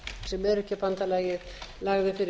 sem öryrkjabandalagið lagði fyrir